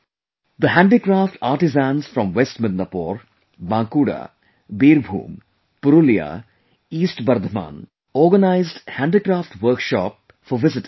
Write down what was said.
The Handicraft artisans from West Midnapore, Bankura, Birbhum, Purulia, East Bardhaman, organized handicraft workshop for visitors